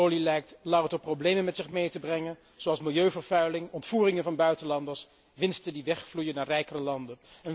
De olie lijkt louter problemen met zich mee te brengen, zoals milieuvervuiling, ontvoeringen van buitenlanders, winsten die wegvloeien naar rijkere landen.